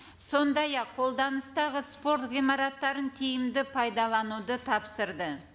сондай ақ қолданыстағы спорт ғимараттарын тиімді пайдалануды тапсырды